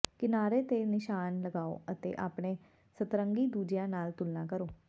ਕਿਨਾਰੇ ਤੇ ਨਿਸ਼ਾਨ ਲਗਾਓ ਅਤੇ ਆਪਣੇ ਸਤਰੰਗੀ ਦੂਜਿਆਂ ਨਾਲ ਤੁਲਨਾ ਕਰੋ